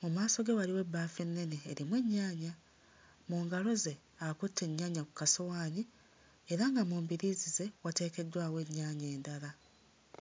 mu maaso ge waliwo ebbaafu ennene erimu ennyaanya mu ngalo ze akutte ennyaanya ku kasowaani era nga mu mbiriizi ze wateekeddwawo ennyaanya endala.